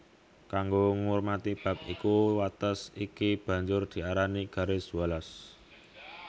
Kango ngurmati bab iku wates iki banjur diarani Garis Wallace